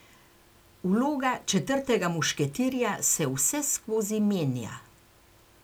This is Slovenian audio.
Vloga četrtega mušketirja se vseskozi menja.